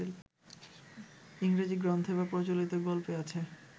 ইংরেজি গ্রন্থে বা প্রচলিত গল্পে আছে